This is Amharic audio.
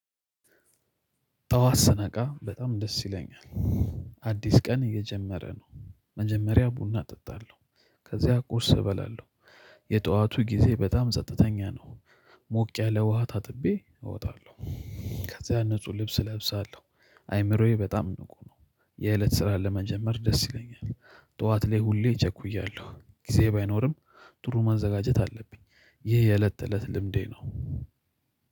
ጠዋት ስነቃ በጣም ደስ ይለኛል። አዲስ ቀን እየጀመረ ነው መጀመሪያ ቡና እጠጣለሁ። ከዚያ ቁርስ እበላለሁ። የጠዋቱ ጊዜ በጣም ጸጥተኛ ነው። ሞቅ ያለ ውሃ ታጥቤ እወጣለሁ። ከዛ ያን ንጹህ ልብስ እለብሳለሁ። አይምሮዬ በጣም ንቁ ነው። የእለት ስራ ለመጀመር ደስ ይለኛል። ጠዋት ላይ ሁሌ እቸኩያለሁ ጊዜ ባይኖርም። ጥሩ ማዘጋጀት አለብኝ። ይህ የእለት ተእለት ልምዴ ነው።